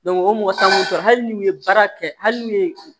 o mɔgɔ t'an bolo hali n'u ye baara kɛ hali n'u ye